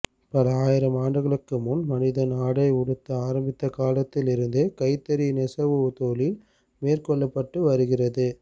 பல ஆயிரம் ஆண்டுகளுக்கு முன் மனிதன் ஆடை உடுத்த ஆரம்பித்த காலத்தில் இருந்தே கைத்தறி நெசவுத் தொழில் மேற்கொள்ளப்பட்டு வருகிறது